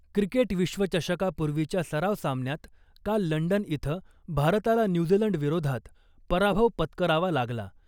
Cricket विश्वचषकापूर्वीच्या सराव सामन्यांत , काल लंडन इथं भारताला न्यूझीलंड विरोधात पराभव पत्करावा लागला .